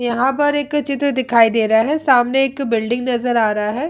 यहां पर एक चित्र दिखाई दे रहा है सामने एक बिल्डिंग नजर आ रहा है।